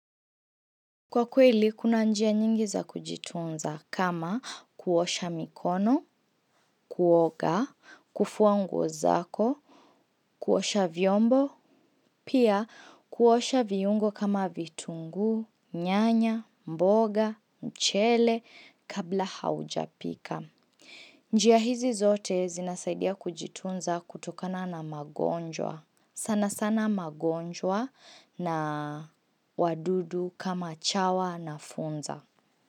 Kwa kweli, kuna njia nyingi za kujitunza kama kuosha mikono, kuoga, kufua nguo zako, kuosha vyombo, pia kuosha viungo kama vitunguu, nyanya, mboga, mchele, kabla haujapika. Njia hizi zote zinasaidia kujitunza kutokana na magonjwa. Sana sana magonjwa na wadudu kama chawa na funza.